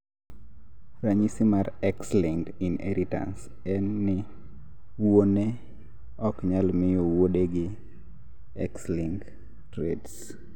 ranyisi mar X-linked inheritance en ni wuone oknyal miyo wuodegi X-linked traits